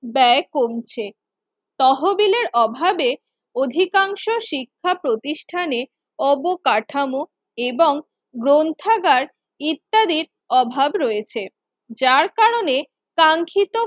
ব্যয় কমছে তহবিলের অভাবে। অধিকাংশ শিক্ষা প্রতিষ্ঠানে অবকাঠামো এবং গ্রন্থাগার ইত্যাদির অভাব রয়েছে, যার কারনে কাঙ্খিত